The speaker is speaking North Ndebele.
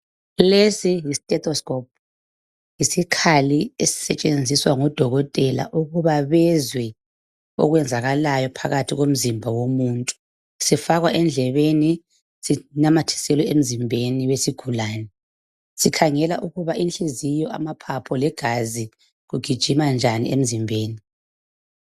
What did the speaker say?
Lesi yisi stethoscope yisikhali esisetshenziswa ngodokotela ukuba bezwe okwenzakalayo phakathi komzimba womuntu sifakwa endlebeni sinamathiselwe emzimbeni wesigulane sikhangela ukuba inhliziyo, amaphaphu legazi kugijima njani emzimbeni